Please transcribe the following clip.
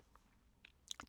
DR1